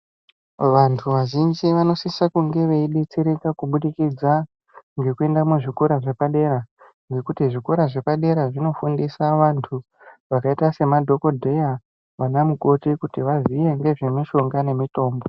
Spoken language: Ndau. Vanthu vazhinji vanosisa kunge veidetsereka kuburikidza ngekuenda muzvikora zvepadera ngekuti zvikora zvepadera zvinofundisa vanthu vakaita semadhokodheya ana mukoti kuti vaziye ngezve mishonga nemitombo.